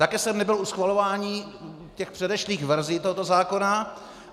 Také jsem nebyl u schvalování těch předešlých verzí tohoto zákona.